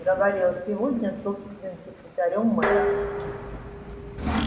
говорил сегодня с собственным секретарём мэра